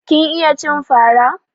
Kin iya cin fara?